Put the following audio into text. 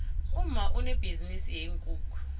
umma unebhizinisi yeenkukhu